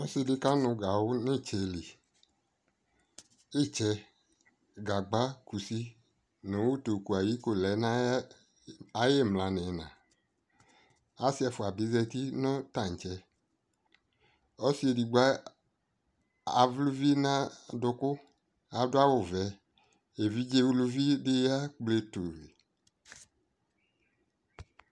Ɔsi dι kanʋ gawu nʋ itsɛ lι Itsɛ, gagba, kusi utuko lɛ nʋ ayi imla nʋ ina Asi ɛcua bι zati nʋ taatsɛƆsi edigbo avlɛ uvi nʋ ayi adʋkʋ, adʋ awu vɛ Evidze uluvi dι ya kple tui